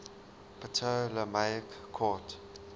ptolemaic court